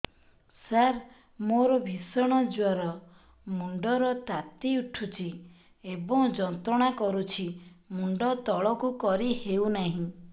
ସାର ମୋର ଭୀଷଣ ଜ୍ଵର ମୁଣ୍ଡ ର ତାତି ଉଠୁଛି ଏବଂ ଯନ୍ତ୍ରଣା କରୁଛି ମୁଣ୍ଡ ତଳକୁ କରି ହେଉନାହିଁ